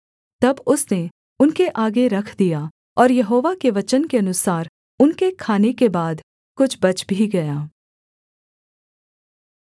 तब उसने उनके आगे रख दिया और यहोवा के वचन के अनुसार उनके खाने के बाद कुछ बच भी गया